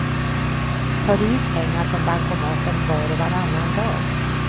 Tar du ut pengar från bankomaten var och varannan dag.